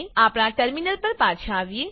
આપણા ટર્મીનલ પર પાછા આવીએ